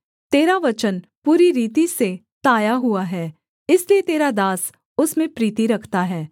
तेरा वचन पूरी रीति से ताया हुआ है इसलिए तेरा दास उसमें प्रीति रखता है